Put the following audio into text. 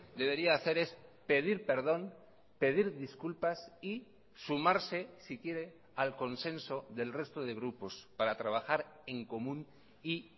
debería hacer es pedir perdón pedir disculpas y sumarse si quiere al consenso del resto de grupos para trabajar en común y